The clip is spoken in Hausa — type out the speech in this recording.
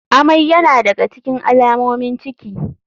Amai yana da ga cikin alamomin ciki.